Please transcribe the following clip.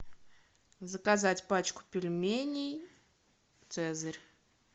заказать пачку пельменей цезарь